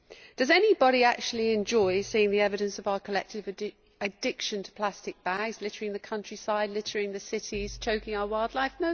Does anybody actually enjoy seeing the evidence of our collective addiction to plastic bags littering the countryside, littering the cities, choking our wildlife?